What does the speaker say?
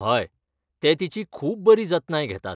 हय, ते तिची खूब बरी जतनाय घेतात.